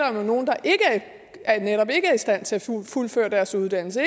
om nogen der netop ikke er i stand til at fuldføre deres uddannelse